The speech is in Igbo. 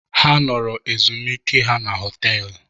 Ha nọrọ ezumike ezumike ha na họtel